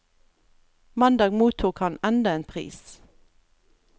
Mandag mottok han enda en pris.